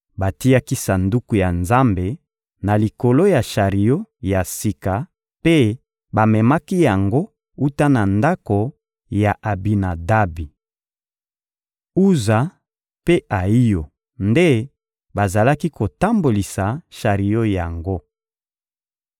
Batiaki Sanduku ya Nzambe na likolo ya shario ya sika mpe bamemaki yango wuta na ndako ya Abinadabi. Uza mpe Ayiyo nde bazalaki kotambolisa shario yango.